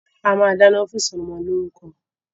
A máa dáná fún ìsọmọlórúkọ.